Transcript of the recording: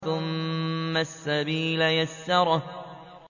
ثُمَّ السَّبِيلَ يَسَّرَهُ